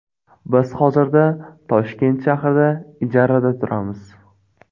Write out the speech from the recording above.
Biz hozirda Toshkent shahrida ijarada turamiz.